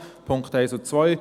Punkt 1 und 2: